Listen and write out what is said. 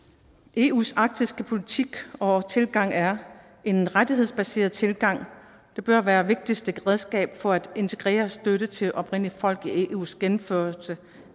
eus arktiske politik og tilgang er en rettighedsbaseret tilgang det bør være det vigtigste redskab for at integrere støtte til oprindelige folk i eus gennemførelse